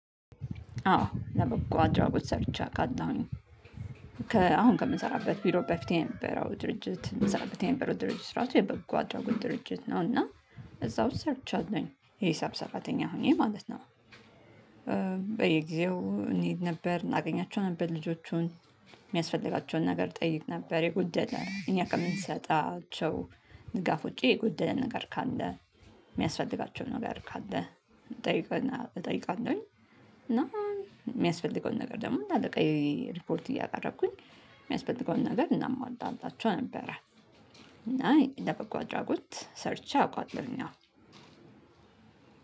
አዎ ለበጎ አድራጎት ሰርቼ አቃለሁ እኔ አሁን ከምሰራበት ቢሮ በፊት የነበረው ድርጅት እንሰራበት የነበረው ድርጅት ራሱ የበጎ አድራጎት ድርጅት ነው እና እዛው ሰርቻለሁኝ የሂሳብ ሰራተኛ ሆኜ ማለት ነው። በየጊዜው እንሄድ ነበር እናገኛቸው ነበር ልጆቹን የሚያስፈልጋቸውን ነገር ጠይቅ ነበር የጎደለ እኛ ከምንሰጣቸው ድጋፍ ውጪ የጎደለ ነገር ካለ የሚያስፈልጋቸው ነገር ካለ እጠይቅና እጠይቃለሁኝ። እና የሚያስፈልገውን ነገር ደግሞ ለአለቃዬ ሪፖርት እያቀረብኩኝ የሚያስፈልገውን ነገር እናሟላላቸው ነበረ። እና ለበጎ አድራጎት ሰርቼ አውቃለሁኝ።